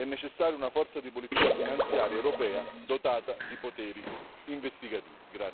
È necessaria una forza di polizia finanziaria europea, dotata di poteri investigativi.